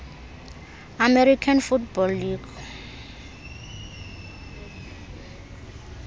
american football league